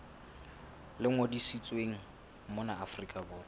le ngodisitsweng mona afrika borwa